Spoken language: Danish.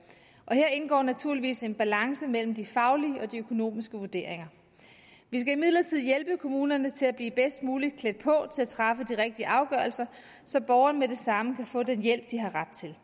her indgår naturligvis en balance mellem de faglige og de økonomiske vurderinger vi skal imidlertid hjælpe kommunerne til at blive bedst muligt klædt på til at træffe de rigtige afgørelser så borgerne med det samme kan få den hjælp de har ret til